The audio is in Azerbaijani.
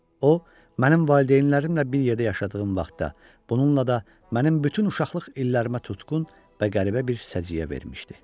O, mənim valideynlərimlə bir yerdə yaşadığım vaxtda, bununla da mənim bütün uşaqlıq illərimə tutqun və qəribə bir səciyyə vermişdi.